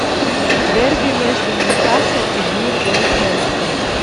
дерби между ньюкасл и вулверхэмптон